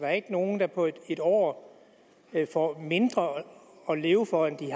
er ikke nogen der på et år får mindre at leve for end de